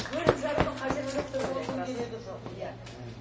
бөліп жарудың қажеті жоқ деп ойлаймын керегі жоқ иә мхм